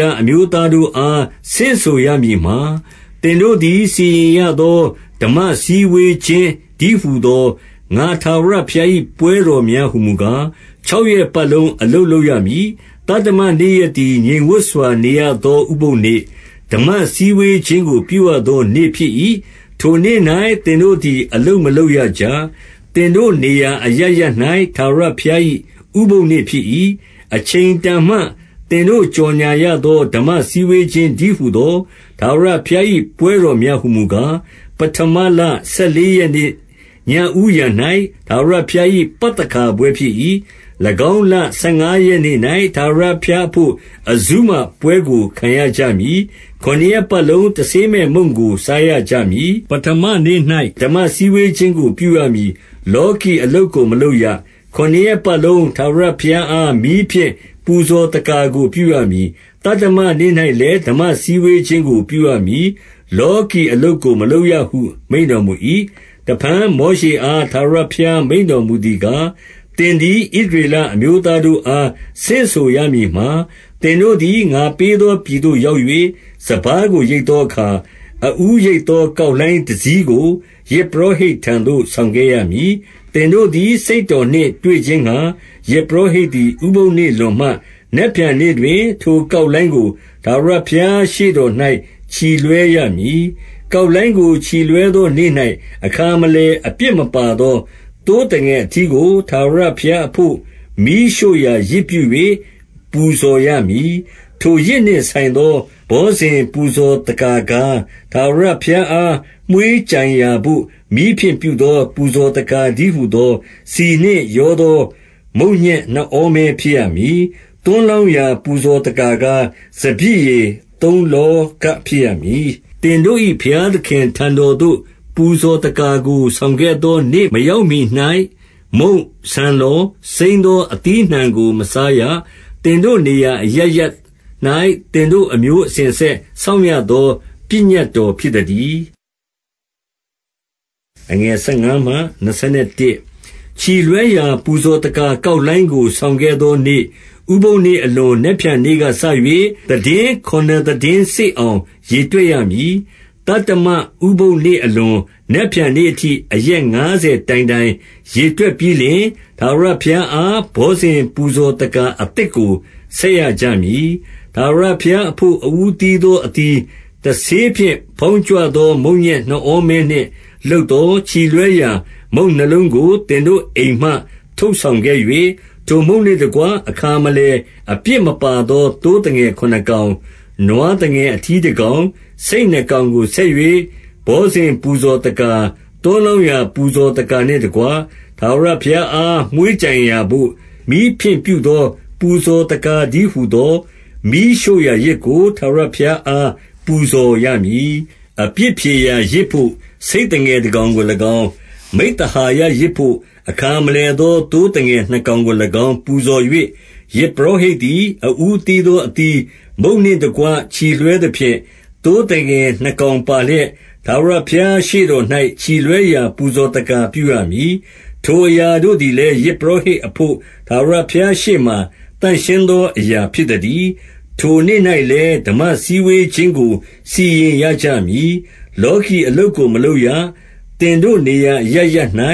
လအမျိုးသားတို့အား ဆင့်ဆိုရမည်မှာ၊- 2 သင်တို့သည် စီရင်ရသော ဓမ္မစည်းဝေးခြင်းတည်းဟူသော ငါ ထာဝရဘုရား၏ ပွဲတော်များဟူမူကား၊- 3 ခြောက်ရက်ပတ်လုံး အလုပ်လုပ်ရမည်။ သတ္တမနေ့ရက်သည် ငြိမ်ဝပ်စွာနေရသော ဥပုသ်နေ့၊ ဓမ္မ စည်းဝေးခြင်းကို ပြုရသောနေ့ဖြစ်၏။ ထို့နေ့၌ သင်တို့သည် အလုပ်မလုပ်ရကြ။ သင်တို့နေရာအရပ် ရပ်၌ ထာဝရဘုရား၏ ဥပုသ်နေ့ဖြစ်၏။ 4 အချိန်တန်မှ သင်တို့ကြော်ငြာရသော ဓမ္မစည်းဝေးခြင်းတည်းဟူသော ထာဝရဘုရား၏ ပွဲတော်များ ဟူမူကား၊- 5 ပဌမလဆယ်လေးရက်နေ့ ညဦးယံ၌ ထာဝရဘုရား၏ ပသခါပွဲဖြစ်၏။ 6 ၎င်းလ ဆယ်ငါးရက်နေ့၌ ထာဝရဘုရားအဘို့ အဇုမပွဲကို ခံရကြမည်။ ခုနစ်ရက်ပတ်လုံး တဆေးမဲ့မုန့် ကို စားရကြမည်။ 7 ပဌမနေ့၌ ဓမ္မစည်းဝေးခြင်းကို ပြုရမည်။ လောကီအလုပ်ကို မလုပ်ရ။ 8 ခုနှစ်ရက်ပတ်လုံး ထာဝရဘုရားအား မီးဖြင့်ပူဇော်သက္ကာကို ပြုရမည်။ သတ္တမနေ့၌လည်း ဓမ္မစည်း ဝေးခြင်းကို ပြုရမည်။ လောကီအလုပ်ကို မလုပ်ရဟု မိန့်တော်၏။ 9 တဖန် မောရှေအား ထာဝရဘုရား မိန့်တော်မူသည်ကား၊ သင်သည် ဣသရေလအမျိုးသားတို့အား ဆင့်ဆိုရမည်မှာ၊- 10 သင်တို့သည် ငါပေးသော ပြည်သို့ရောက်၍ စပါးကို ရိတ်သောအခါ၊ အဦးရိတ်သော ကောက်လှိုင်း တစည်းကို ယဇ်ပုရောဟိတ်ထံသို့ ဆောင်ခဲ့ရမည်။ 11 သင်တို့သည် စိတ်တော်နှင့် တွေ့ခြင်းငှါ ယဇ်ပုရောဟိတ်သည် ဥပုသ်နေ့လွန်မှ၊ နက်ဖြန်နေ့တွင် ထိုကောက်လှိုင်းကို ထာဝရဘုရား ရှေ့တော်၌ ချီလွှဲရမည်။ 12 ကောက်လှိုင်းကို ချီလွှဲသောနေ့၌ အခါမလည် အပြစ်မပါသော သိုးသငယ်အထီးကို ထာဝရဘုရား အဘို့ မီးရှို့ရာယဇ်ပြု၍ ပူဇော်ရမည်။ 13 ထိုယဇ်နှင့်ဆိုင်သော ဘောဇဉ်ပူဇော်သက္ကာကား၊ ထာဝရဘုရားအား မွှေးကြိုင်ရာဘို့ မီးဖြင့်ပြုသော ပူဇော်သက္ကာတည်းဟူသော ဆီနှင့်ရောသော မုန့်ညက်နှစ်ဩမဲ ဖြစ်ရမည်။ သွန်းလောင်းရာ ပူဇော်သက္ကာကား၊ စပျစ်ရည်သုံးလောဃ ဖြစ်ရမည်။ 14 သင်တို့၏ ဘုရားသခင်ထံတော်သို့ ပူဇော်သက္ကာကို ဆောင်ခဲ့သောနေ့ မရောက်မှီ၌ မုန့်၊ ဆန်လှော်၊ စိမ်းသောအသီးအနှံကို မစားရ။ သင်တို့နေရာ အရပ်ရပ်၌ သင်တို့ အမျိုးအစဉ်အဆက် စောင့်ရ သော ပညတ်တော်ဖြစ်သတည်း။ 15 ချီလွှဲရာ ပူဇော်သက္ကာကောက်လှိုင်းကို ဆောင်ခဲ့သောနေ့၊ ဥပုသ်နေ့အလွန် နက်ဖြန်နေ့ကစ၍ သီတင်းခုနစ်သီတင်းစေ့အောင် ရေတွက်ရမည်။ 16 သတ္တမဥပုသ်နေ့အလွန် နက်ဖြန်နေ့အထိ အရက်ငါးဆယ်တိုင်တိုင် ရေတွက်ပြီးလျှင်၊ ထာဝရဘုရား အား ဘောဇဉ်ပူဇော်သက္ကာ အသစ်ကို ဆက်ရကြမည်။ 17 ထာဝရဘုရားအဘို့ အဦးသီးသော အသီး၊ တဆေးဖြင့် ဖောင်းကြွသော မုန့်ညက် နှစ်ဩမဲနှင့် လုပ်သော ချီလွှဲရာမုန့်နှစ်လုံးကို သင်တို့အိမ်မှ ထုတ်ဆောင်ခဲ့၍၊- 18 ထိုမုန့်နှင့်တကွ အခါမလည် အပြစ်မပါသော သိုးသငယ်ခုနစ်ကောင်၊ နွားသငယ် အထီးတကောင်၊ ဆိတ်နှစ်ကောင်ကို ဆက်၍၊ ဘောဇဉ် ပူဇော်သက္ကာ၊ သွန်းလောင်းရာ ပူဇော်သက္ကာနှင့်တကွ၊ ထာဝရဘုရားအား မွှေးကြိုင်ရာသို့ မီးဖြင့်ပြုသောပူဇော်သက္ကာ တည်းဟူသောမီးရှိုရာယဇ်ကို ထာဝရ ဘုရားအား ပူဇော်ရမည်။ 19 အပြစ်ဖြေရာယဇ်ဘို့ ဆိတ်သငယ်တကောင်ကို၎င်း၊ မိဿဟာယယဇ်ဘို့ အခါမလည်သော သိုးသငယ်နှစ်ကောင်ကို၎င်း ပူဇော်၍၊- 20 ယဇ်ပုရောဟိတ်သည် အဦးသီးသော အသီးမုန့်နှင့်တကွ ချီလွှဲသဖြင့်၊ သိုးသငယ်နှစ်ကောင်ပါလျက် ထာဝရဘုရားရှေ့တော်၌ ချီလွှဲရာ ပူဇော်သက္ကာ ပြုရမည်။ ထိုအရာတို့သည်လည်း၊ ယဇ်ပုရောဟိတ် အဘို့ ထာဝရဘုရားရှေ့မှာ သန့်ရှင်းသော အရာဖြစ်သတည်း။ 21 ထိုနေ့၌လည်း ဓမ္မစည်းဝေးခြင်းကို စီရင်ရကြမည်။ လောကီအလုပ်ကို မလုပ်ရ။ သင်တို့နေရာ အရပ်ရပ်၌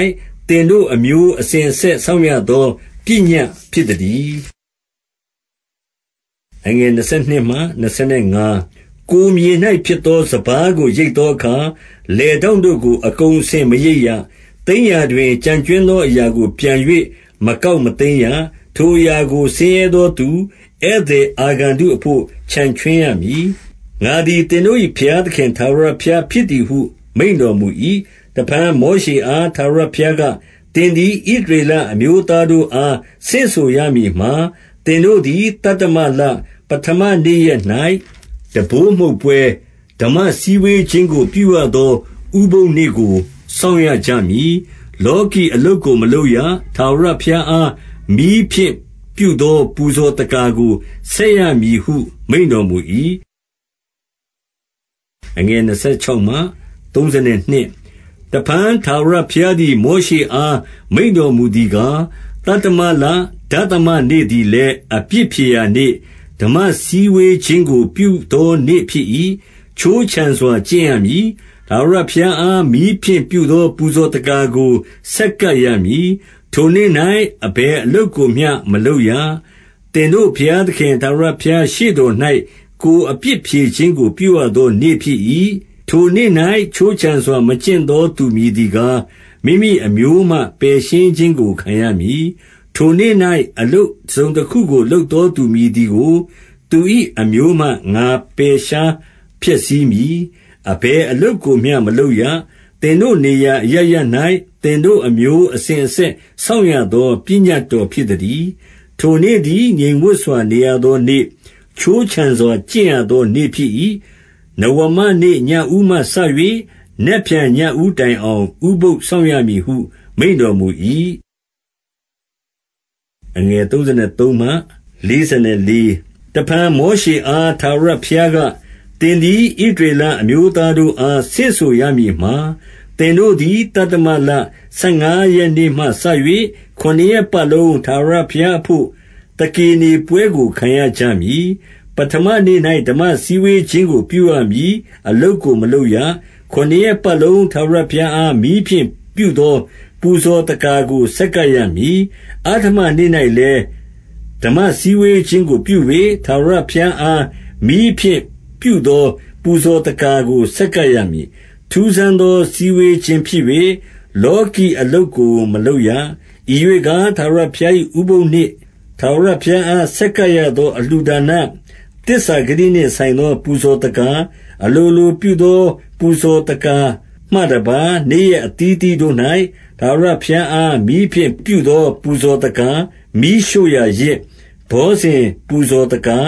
သင်တို့ အမျိုးအစဉ်အဆက် စောင့်ရသော ပညတ်ဖြစ်သတည်း။ 22 ကိုယ်မြေ၌ ဖြစ်သောစပါးကို ရိတ်သောအခါ၊ လယ်ထောင့်တို့ကို အကုန်အစင် မရိတ်ရ။ သိမ်းရာတွင် ကျန်ကြွင်းသောအရာကို ပြန်၍ မကောက်မသိမ်းရ။ ထိုအရာကို ဆင်းရဲသောသူ ဧည့်သည်အာဂန္တု အဘို့ ချန်ခြွင်းရမည်။ ငါသည် သင်တို့၏ ဘုရားသခင် ထာဝရဘုရားဖြစ်သည်ဟု မိန့်တော်မူ၏။ 23 တဖန် မောရှေအား ထာဝရဘုရားက၊ သင်သည် ဣသရေလအမျိုးသားတို့အား ဆင့်ဆိုရမည်မှာ၊ 24 သင်တို့သည် သတ္တမလ၊ ပဌမနေ့ရက်၌ တံပိုးမှုတ်ပွဲ၊ ဓမ္မစည်းဝေးခြင်းကို ပြုရသော ဥပုသ်နေ့ကို စောင့်ရကြမည်။ 25 လောကီအလုပ်ကို မလုပ်ရ။ ထာဝရဘုရားအား မီးဖြင့်ပြုသော ပူဇော်သက္ကာကို ဆက်ရမည်ဟု မိန့်တော်မူ၏။ 26 တဖန် ထာဝရဘုရားသည် မောရှေအား မိန့်တော်မူသည်ကား၊- 27 သတ္တမလ၊ ဒသမနေ့သည်လည်း အပြစ်ဖြေရာနေ့၊ ဓမ္မစည်းဝေးခြင်းကို ပြုသောနေ့ဖြစ်၏။ ခြိုးခြံစွာ ကျင့်ရမည်။ ထာဝရဘုရားအား မီးဖြင့်ပြုသော ပူဇော်သက္ကာကို ဆက်ကပ်ရမည်။ 28 ထိုနေ့၌ အဘယ်အလုပ်ကိုမျှ မလုပ်ရ။ သင်တို့ ဘုရားသခင် ထာဝရဘုရားရှေ့တော်၌ ကိုယ်အပြစ် ဖြေခြင်းကို ပြုရသောနေ့ဖြစ်၏။ 29 ထိုနေ့၌ ခြိုးခြံစွာ မကျင့်သောသူမည်သည်ကား မိမိအမျိုးမှ ပယ်ရှင်းခြင်းကို ခံရမည်။ 30 ထိုနေ့၌ အလုပ်တစုံတခုကို လုပ်သောသူ မည်သည်ကို၊ သူ၏အမျိုးမှ ငါပယ်ရှား ဖျက်ဆီးမည်။- 31 အဘယ်အလုပ်ကိုမျှ မလုပ်ရ။ သင်တို့နေရာအရပ်ရပ်၌ သင်တို့အမျိုးအစဉ်အဆက် စောင့်ရသော ပညတ်တော်ဖြစ်သတည်း။ 32 ထိုနေ့သည် ငြိမ်ဝပ်စွာ နေရသောနေ့၊ ခြိုးခြံစွာကျင့်ရသောနေ့ ဖြစ်၏။ နဝမနေ့ ညဦးမှစ၍ နက်ဖြန် ညဦးတိုင်အောင် ဥပုသ်စောင့်ရမည်ဟု မိန့်တော်မူ၏။ 33 တဖန် မောရှေအား ထာဝရဘုရားက၊ သင်သည် ဣသရေလအမျိုးသားတို့အား ဆင့်ဆိုရမည်မှာ၊- 34 သင်တို့သည် သတ္တမလ၊ ဆယ်ငါးရက်နေ့မှစ၍ ခုနှစ်ရက်ပတ်လုံး ထာဝရဘုရားအဘို့ သကေနေပွဲ ကို ခံရကြမည်။- 35 ပဌမနေ့၌ ဓမ္မစည်းဝေးခြင်းကို ပြုရမည်။ အလုပ်ကို မလုပ်ရ။ 36 ခုနစ်ရက်ပတ်လုံး ထာဝရဘုရားအား မီးဖြင့်ပြုသော ပူဇော်သက္ကာကို ဆက်ကပ်ရမည်။ အဋ္ဌမနေ့၌ လည်း၊ ဓမ္မစည်းဝေးခြင်းကို ပြု၍၊ ထာဝရဘုရားအား မီးဖြင့်ပြုသော ပူဇော်သက္ကာကို ဆက်ကပ်ရ မည်။ 37 ထူးဆန်းသော စည်းဝေးခြင်းဖြစ်၍ လောကီအလုပ်ကို မလုပ်ရ။ 38 ဤရွေ့ကား၊ ထာဝရဘုရား၏ ဥပုသ်နေ့၊ ထာဝရဘုရားအား ဆက်ကပ်ရသော အလှူဒါန၊ သစ္စာဂတိနှင့်ဆိုင်သော ပူဇော်သက္ကာ၊ အလိုလိုပြုသော ပူဇော်သက္ကာမှတပါး၊ နေ့ရက်အသီးအသီးတို့ ၌ ထာဝရဘုရားအား မီးဖြင့်ပြုသော ပူဇော်သက္ကာ၊ မီးရှို့ရာယဇ်၊ ဘောဇဉ်ပူဇော်သက္ကာ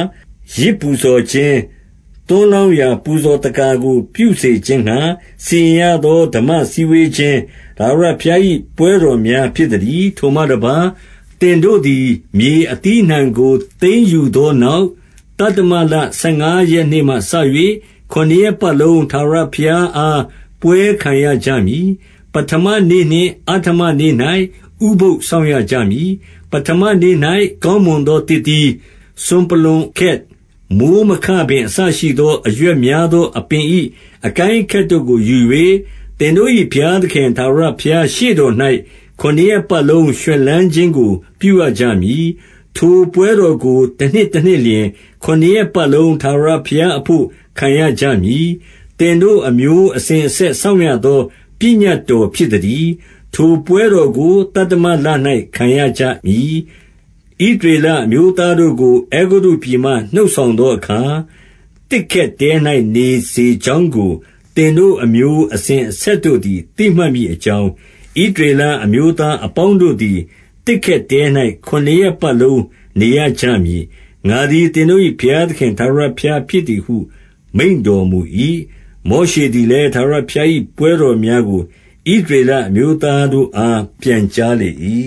၊ ယဇ်ပူဇော် ခြင်း၊ သွန်းလောင်းရာ ပူဇော်သက္ကာကို ပြုစေခြင်းငှါ စီရင်ရသော ဓမ္မစည်းဝေးခြင်း၊ ထာဝရဘုရား ၏ ပွဲတော်များ ဖြစ်သတည်း။ 39 ထိုမှတပါး၊ သင်တို့သည် မြေအသီးအနှံကို သိမ်းယူသောနောက်၊ သတ္တမလ ဆယ်ငါးရက်နေ့မှစ၍ ခုနှစ်ရက်ပတ်လုံး ထာဝရဘုရားအား ပွဲခံကြရမည်။ ပဌမနေ့နှင့် အဋ္ဌမနေ့၌ ဥပုသ်စောင့်ကြရမည်။ 40 ပဌမနေ့၌ ကောင်းမွန်သော သစ်သီး၊ စွန်ပလွံခက်၊ မိုဃ်းမခပင် အစရှိသော အရွက်များသော အပင်၏ အကိုင်းအခက်တို့ကိုယူ၍၊ သင်တို့၏ ဘုရားသခင်ထာဝရဘုရားရှေ့တော်၌ ခုနစ်ရက်ပတ်လုံး ရွှင်လန်းခြင်းကို ပြုရကြမည်။ 41 ထိုပွဲတော်ကို တနှစ်တနှစ်လျှင် ခုနစ်ရက်ပတ်လုံး ထာဝရဘုရားအဘို့ ခံရကြမည်။ သင်တို့ အမျိုး အစဉ်အဆက် စောင့်ရသော ပညတ်တော်ဖြစ်သတည်း။ ထိုပွဲတော်ကို သတ္တမလ၌ ခံရကြမည်။ 42 ဣသရေလအမျိုးသားတို့ကို အဲဂုတ္တုပြည်မှ နှုတ်ဆောင်သောအခါ၊ 43 သစ်ခက်တဲ၌ နေစေကြောင်းကို သင်တို့ အမျိုးအစဉ်အဆက်တို့သည် သိမှတ်မည်အကြောင်း၊ ဣသရေလအမျိုးသားအပေါင်းတို့သည် သစ်ခက်တဲ၌ ခုနှစ်ရက်ပတ်လုံး နေရကြမည်။ ငါသည် သင်တို့၏ ဘုရားသခင် ထာဝရဘုရား ဖြစ်သည်ဟု မိန့်တော်မူ၏။ 44 မောရှေသည်လည်း၊ ထာဝရဘုရား၏ ပွဲတော်များကို ဣသရေလအမျိုးသားတို့အား ပြန်ကြားလေ၏